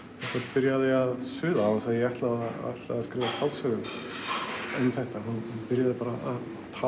byrjaði að suða án þess að ég ætlaði að skrifa skáldsögu um þetta hún byrjaði bara að